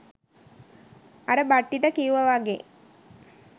අර බට්ටිට කිව්ව වගේ